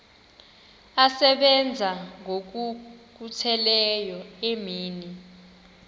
asebenza ngokokhutheleyo imini